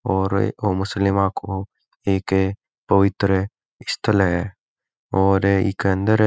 और एक आ मुस्लिम को एक पवित्र स्थल है और ईके अंदर--